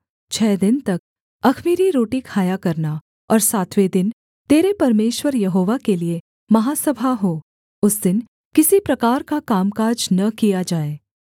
छः दिन तक अख़मीरी रोटी खाया करना और सातवें दिन तेरे परमेश्वर यहोवा के लिये महासभा हो उस दिन किसी प्रकार का कामकाज न किया जाए